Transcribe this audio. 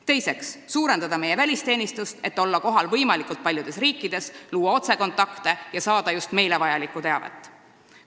Teiseks, suurendada meie välisteenistust, et olla kohal võimalikult paljudes riikides, luua otsekontakte ja saada just meile vajalikku teavet.